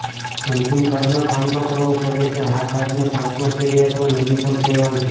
અંતિમ કાર્ડનો સામનો કરવો પડે છે આ કાર્ડને પાંચમા શેરી અથવા નદી પણ કહેવાય છે